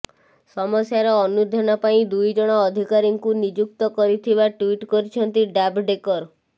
ସମସ୍ୟାର ଅନୁଧ୍ୟାନ ପାଇଁ ଦୁଇଜଣ ଅଧିକାରୀଙ୍କୁ ନିଯୁକ୍ତ କରିଥିବା ଟ୍ୱିଟ୍ କରିଛନ୍ତି ଜାଭଡେକର୍